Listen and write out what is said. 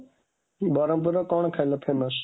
ବରହମପୁରର କ'ଣ ଖାଇବା famous?